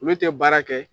Olu tɛ baara kɛ